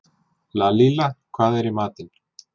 Lalíla, hvað er í matinn?